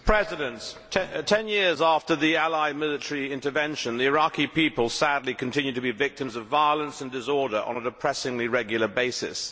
Mr President, 10 years after the allied military intervention, the Iraqi people sadly continue to be victims of violence and disorder on a depressingly regular basis.